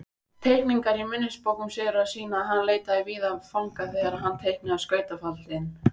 Teikningar í minnisbókum Sigurðar sýna að hann leitaði víða fanga þegar hann teiknaði skautafaldinn.